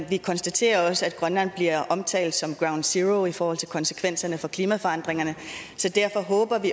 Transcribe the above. vi konstaterer også at grønland bliver omtalt som ground zero i forhold til konsekvenserne af klimaforandringerne så derfor håber vi